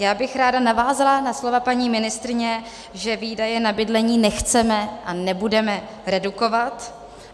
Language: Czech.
Já bych ráda navázala na slova paní ministryně, že výdaje na bydlení nechceme a nebudeme redukovat.